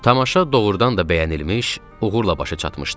Tamaşa doğurdan da bəyənilmiş, uğurla başa çatmışdı.